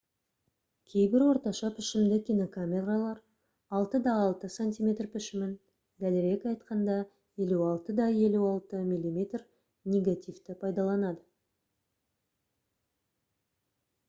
кейбір орташа пішімді кинокамералар 6 х 6 см пішімін дәлірек айтқанда 56 х 56 мм негативті пайдаланады